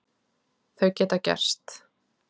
Þau geta gerst.